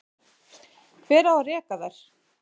Hver á að reka þær?